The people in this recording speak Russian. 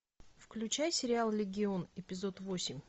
включай сериал легион эпизод восемь